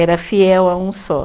Era fiel a um só.